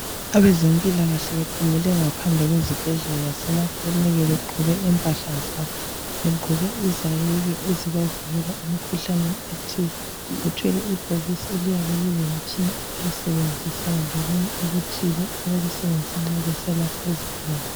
Abazempilakahle bephumele ngaphandle kwezibhedlela lasemakilinika begqoke impahla zabo, begqoke izayeke ezibavikela emikhuhlaneni ethile. Bethwele ibhokisi eliyabe lilemitshina abayisebenzisayo lokunye okuthile abakusebenzisa nxa besiyalapha izigulane.